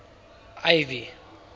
ivy